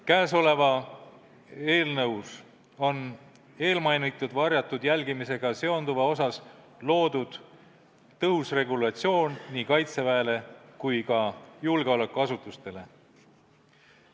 Käesolevas eelnõus on eelmainitud varjatud jälgimisega seonduva osas loodud tõhus regulatsioon nii Kaitseväele kui ka julgeolekuasutustele.